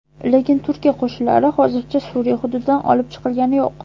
Lekin Turkiya qo‘shinlari hozircha Suriya hududidan olib chiqilgani yo‘q.